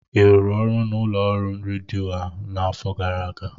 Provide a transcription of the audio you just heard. ị rụrụ ọrụ n'ụlọ ọrụ redio a n'afọ gara aga?